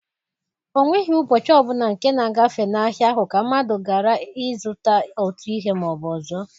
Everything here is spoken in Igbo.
O nweghi ụbọchị ọ bụla nke na-agafe n'ahịa ahụ ka mmadụ garaghị ịzụta otu ihe ma ọ bụ ọzọ.